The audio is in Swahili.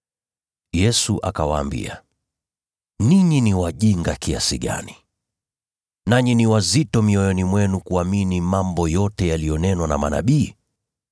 Yesu akawaambia, “Ninyi ni wajinga kiasi gani, nanyi ni wazito mioyoni mwenu kuamini mambo yote yaliyonenwa na manabii!